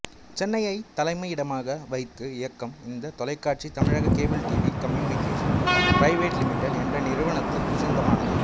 சென்னையை தலைமையிடமாக வைத்து இயக்கம் இந்த தொலைக்காட்சி தமிழக cable TV communication private limited என்ற நிறுவனத்திற்கு சொந்தமானது